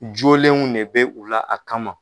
Jolenw de bɛ u la a kama